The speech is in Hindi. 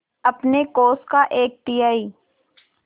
अपने कोष का एक तिहाई